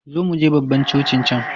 Zo muje babban cocin can!